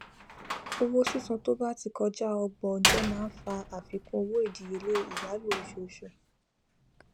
owó sísan to bá ti kọjá ọgbọn ọjọ máa ń fà àfikún owó ìdíyelé ìyálò oṣooṣù